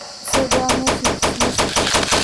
Kusodhawow mesha tusmista